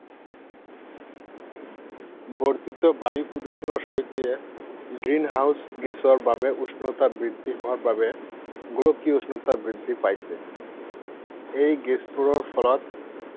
বৰ্ধিত বায়ু প্ৰদূষণৰ সৈতে, Green House গেছৰ বাবে উষ্ণতা বৃদ্ধি হোৱাৰ বাবে গোলকীয় উষ্ণতা বৃদ্ধি পাইছে। এই গেছবোৰৰ ফলত